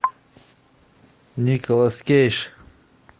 николас кейдж